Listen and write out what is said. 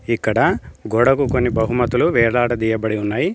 ఇక్కడ గోడకు కొన్ని బహుమతులు వేలాడదీయబడి ఉన్నాయి.